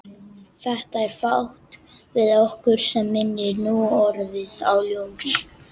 Það er fátt við okkur sem minnir núorðið á ljós.